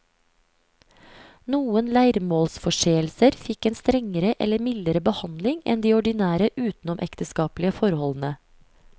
Noen leiermålsforseelser fikk en strengere eller mildere behandling enn de ordinære utenomekteskapelige forholdene.